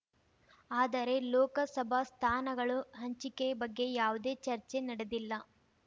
ಆದರೆ ಲೋಕಸಭಾ ಸ್ಥಾನಗಳು ಹಂಚಿಕೆ ಬಗ್ಗೆ ಯಾವುದೇ ಚರ್ಚೆ ನಡೆದಿಲ್ಲ